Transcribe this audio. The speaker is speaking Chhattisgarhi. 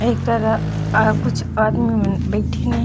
एक तरफ अ कुछ आदमी मन बइठिन हे।